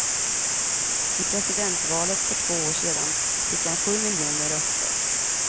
I presidentvalet för två år sedan fick han sju miljoner röster.